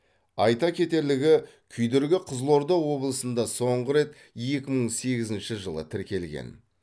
айта кетерлігі күйдіргі қызылорда облысында соңғы рет екі мың сегізінші жылы тіркелген